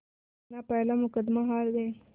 वो अपना पहला मुक़दमा हार गए